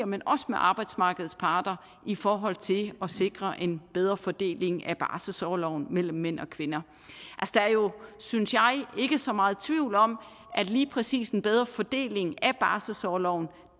men også med arbejdsmarkedsparter i forhold til at sikre en bedre fordeling af barselsorloven mellem mænd og kvinder der er jo synes jeg ikke så meget tvivl om at lige præcis en bedre fordeling af barselsorloven